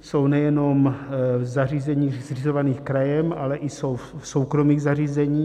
jsou nejenom v zařízeních zřizovaných krajem, ale i jsou v soukromých zařízeních.